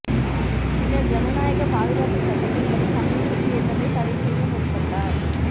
பின்னர் ஜனநாயக பாதுகாப்பு சட்டத்தின் படி கம்யூனிஸ்ட் இயக்கத்தைத் தடைசெய்ய முற்பட்டார்